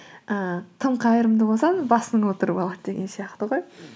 ііі тым қайырымды болсаң басыңа отырып алады деген сияқты ғой